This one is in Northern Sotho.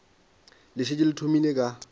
le šetše le thomile ka